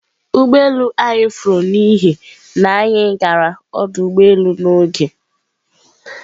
Ụgbọ elu anyị furu n'ihi na anyị gara ọdụ ụgbọ elu n'oge.